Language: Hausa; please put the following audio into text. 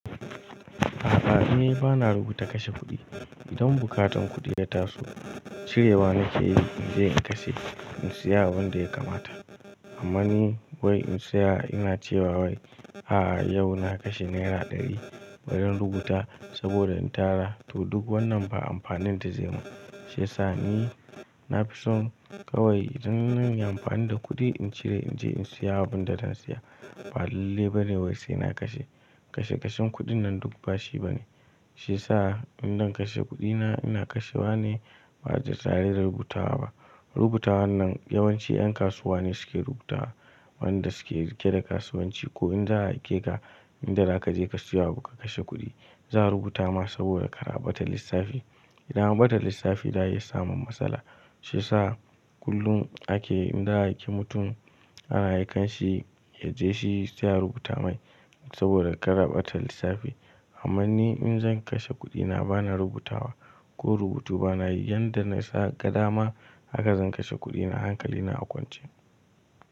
A'a, ni bana rubuta kashe kuɗi. Idan bukatan kuɗi ya taso, cirewa nake yi in je in kashe in siya abin da ya kamata. Amma ni wai in saya ina cewa wai a'a yau na kashe naira ɗari bari in rubuta saboda in tara. To duk wannan ba amfanin da zai yi min. Shiyasa ni na fi son kawai idan zan yi amfani da kuɗi in cire in je in siya abin da zan siya. Ɓalallai bane wai sai na kashe. Kashe kashen kuɗin nan duk ba shi bane. Shiyasa indan kashe kuɗina ina kashe wa ne ba da tare da rubutawa ba. Rubutawa nnan yawanci 'yan kasuwa ne suke rubuta wa wanda suke riƙe da kasuwanci ko in za a aike ka, inda za ka je ka saya abu ka kashe kuɗi, za a rubuta ma saboda ka rabata lissafi. Idan an ɓata lissafi za a iya samun matsala. Shiya sa kullum ake idan za a aike mutum ana aikan shi ya je shi saya rubuta mai saboda ka rabata lissafi. Amma ni in zan kashe kuɗina bana rubutawa ko rubutu bana yi. Yanda na sa gada ma haka zan kashe kuɗina hankali na a kwance.